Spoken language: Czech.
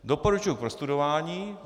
Doporučuji k prostudování.